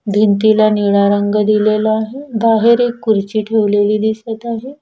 भिंतीला निळा रंग दिलेला आहे बाहेर एक खुर्ची ठेवलेली दिसत आहे.